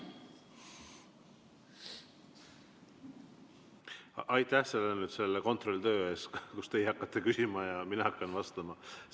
Aitäh selle kontrolltöö eest, kus teie hakkate küsima ja mina hakkan vastama!